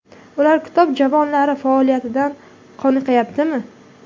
Ular kitob javonlari faoliyatidan qoniqayaptimi?